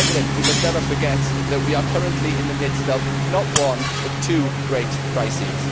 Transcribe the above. We must never forget that we are currently in the midst of not one but two great crises.